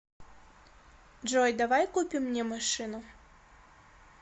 джой давай купим мне машину